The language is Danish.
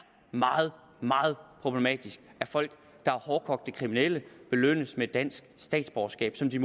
meget meget problematisk at folk der er hårdkogte kriminelle belønnes med dansk statsborgerskab som de